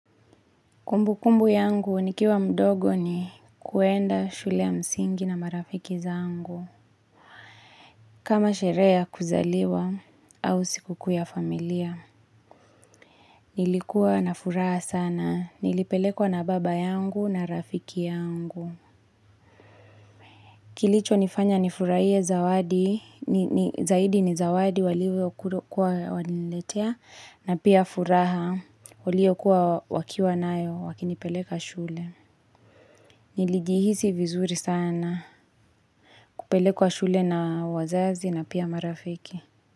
Kumbu kumbu yangu nikiwa mdogo ni kuenda shule ya msingi na marafiki zangu. Kama sherehe ya kuzaliwa au siku kuu ya familia. Nilikuwa na furaha sana. Nilipelekwa na baba yangu na rafiki yangu. Kilicho nifanya nifurahie zawadi. Zaidi ni zawadi walivyo kuwa wananiletea. Na pia furaha waliokua wakiwa nayo wakinipeleka shule. Nilijihisi vizuri sana. Kupelekwa shule na wazazi na pia marafiki.